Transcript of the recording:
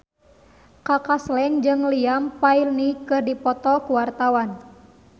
Kaka Slank jeung Liam Payne keur dipoto ku wartawan